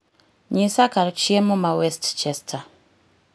nyisa kar chiemo ma west chester